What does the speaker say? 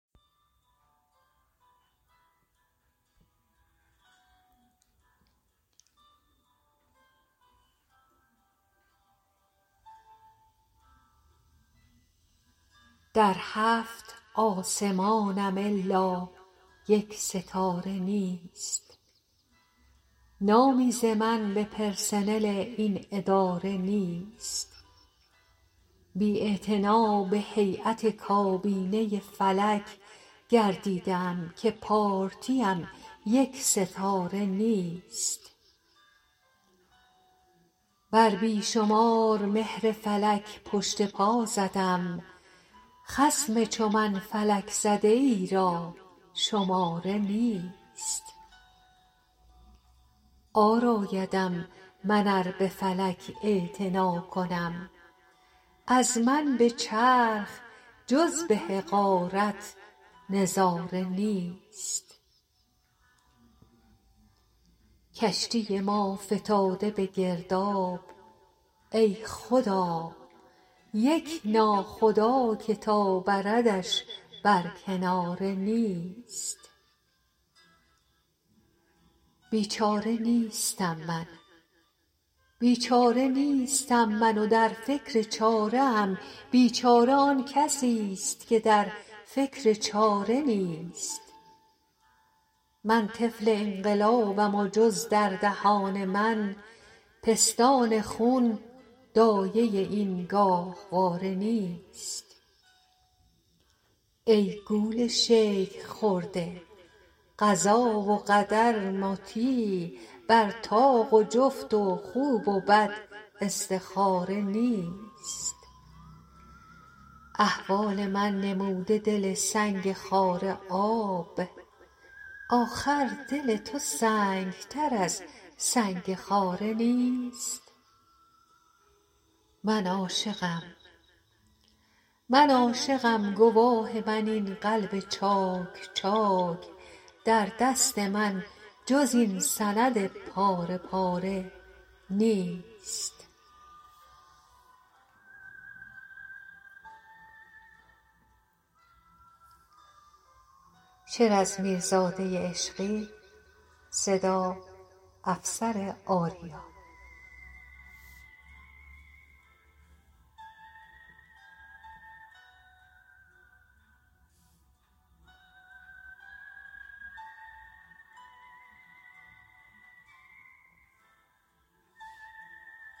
در هفت آسمانم الا یک ستاره نیست نامی ز من به پرسنل این اداره نیست بی اعتنا به هییت کابینه فلک گردیده ام که پارتی ام یک ستاره نیست بر بی شمار مهر فلک پشت پا زدم خصم چو من فلک زده ای را شماره نیست عار آیدم من ار به فلک اعتنا کنم از من به چرخ جز به حقارت نظاره نیست کشتی ما فتاده به گرداب ای خدا یک ناخدا که تا بردش بر کناره نیست بیچاره نیستم من و در فکر چاره ام بیچاره آن کسیست که در فکر چاره نیست من طفل انقلابم و جز در دهان من پستان خون دایه این گاهواره نیست ای گول شیخ خورده قضا و قدر مطیع بر طاق و جفت و خوب و بد استخاره نیست احوال من نموده دل سنگ خاره آب آخر دل تو سنگتر از سنگ خاره نیست من عاشقم گواه من این قلب چاک چاک در دست من جز این سند پاره پاره نیست